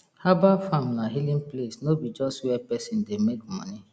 herbal farm na healing place no be just where person dey make money